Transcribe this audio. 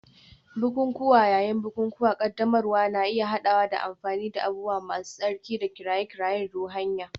Bukukuwa yayin bukukuwan ƙaddamarwa na iya haɗawa da amfani da abubuwa masu tsarki da kiraye-kirayen ruhaniya.